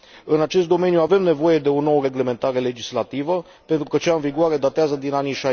În acest domeniu avem nevoie de o nouă reglementare legislativă, pentru că cea în vigoare datează din anii